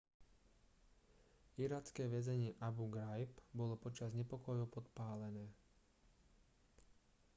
iracké väzenie abu ghraib bolo počas nepokojov podpálené